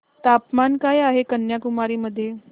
तापमान काय आहे कन्याकुमारी मध्ये